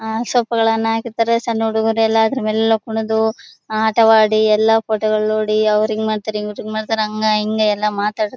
ಅಹ್ ಸೊಪ್ಪುಗಳನ್ನ ಹಾಕಿರತ್ತರೆ ಸಣ್ಣ ಹುಡುಗ್ರು ಎಲ್ಲಾ ಅದ್ರ ಮೇಲೆ ಎಲ್ಲಾ ಕುಣದು ಆಟವಾಡಿ ಎಲ್ಲಾ ಫೋಟೋಗಳು ನೋಡಿ ಅವ್ರ್ ಹಿಂಗ ಮಾಡತಾರೆ ಹಂಗ ಹಿಂಗ ಎಲ್ಲಾ ಮಾತಾಡತಾರೆ.